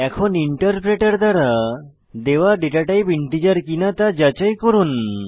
এখন ইন্টারপ্রেটার দ্বারা দেওয়া ডেটাটাইপ ইন্টিজার কিনা তা যাচাই করুন